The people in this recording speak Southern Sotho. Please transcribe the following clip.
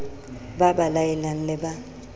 ba ba laelang le ba